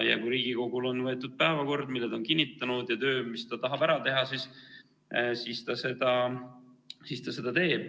Kui Riigikogul on päevakord, mille ta on kinnitanud, ja töö, mis ta tahab ära teha, siis ta seda teeb.